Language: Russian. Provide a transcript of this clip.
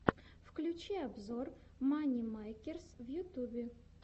включи обзор мани мэйкерс в ютюбе